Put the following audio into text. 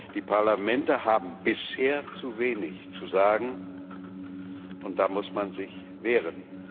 Die Parlamente haben bisher zu wenig zu sagen, und da muss man sich wehren.